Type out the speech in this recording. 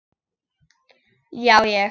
Já ég.